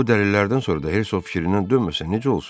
Bu dəlillərdən sonra da Hersoq fikrindən dönməsə necə olsun?